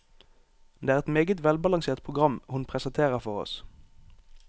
Det er et meget velbalansert program hun presenterer for oss.